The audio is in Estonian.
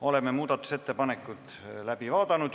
Oleme muudatusettepanekud läbi vaadanud.